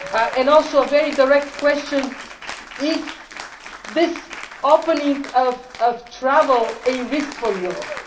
us. And also a very direct question is the opening up of travel a risk for Europe?